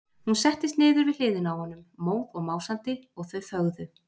Hún settist niður við hliðina á honum, móð og másandi, og þau þögðu.